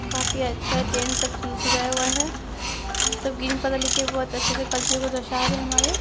काफी अच्छा टेंट सब सजाया हुआ है सब ग्रीन पर्दा लेके बहुत अच्छे से कल्चर को दशा रहे हैं हमारे।